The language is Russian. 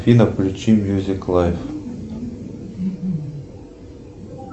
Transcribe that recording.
афина включи мьюзик лайф